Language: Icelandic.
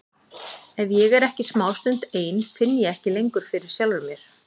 Ef ég er smástund ein finn ég ekki lengur fyrir sjálfri mér.